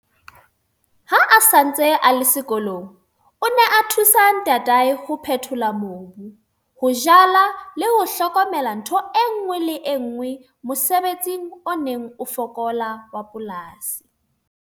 Ha a sa ntse a le sekolong, o ne a thusa ntatae ho phethola mobu, ho jala le ho hlokomela ntho e nngwe le e nngwe mosebetsing o neng o fokola wa polasi.